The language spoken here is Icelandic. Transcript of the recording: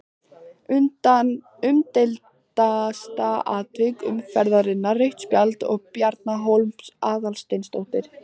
Umdeildasta atvik umferðarinnar: Rautt spjald á Bjarna Hólm Aðalsteinsson?